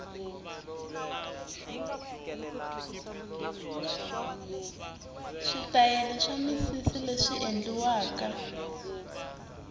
switayela swa misisileswi endliwaka